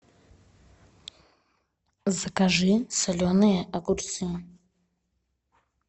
закажи соленые огурцы